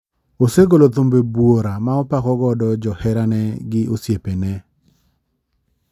Osegolo thumbe buora ma opako godo jo herane gi osiepene.